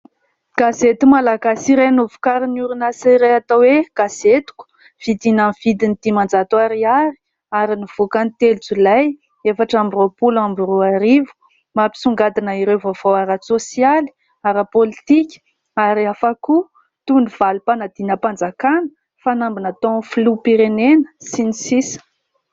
Gazety malagasy iray novokarin'ny orinasa iray atao hoe "gazetiko" vidina amin'ny vidiny dimanjato ariary ary nivoaka ny telo jolay efatra amby roapolo amby roa arivo. Mampisongadina ireo vaovao ara-sôsialy ara-pôlitika ary hafa koa toy ny valim-panadinam-panjakana fanamby nataon'ny filoham-pirenena sy ny sisa...